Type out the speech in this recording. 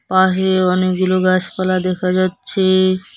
পাশে অনেকগুলো গাছপালা দেখা যাচ্ছে।